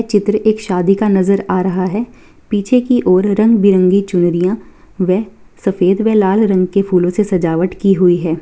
ये चित्र एक शादी का नजर आ रहा है पीछे की ओर रंग-बिरंगी चुनरियां वे सफेद व लाल रंग के फुलो से सजावट की हुई है।